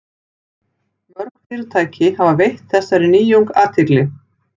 Mörg fyrirtæki hafa veitt þessari nýjung athygli.